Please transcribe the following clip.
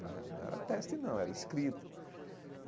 Né não era teste, não, era escrito.